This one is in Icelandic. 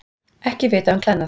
Ekki vitað um klæðnað